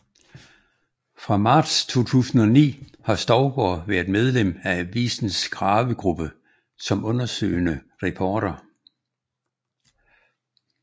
Fra marts 2009 har Stougaard været medlem af avisens Gravegruppe som undersøgende reporter